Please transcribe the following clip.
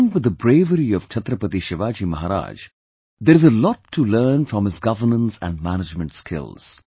Along with the bravery of Chhatrapati Shivaji Maharaj, there is a lot to learn from his governance and management skills